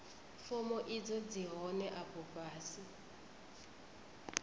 fomo idzo dzi hone afho fhasi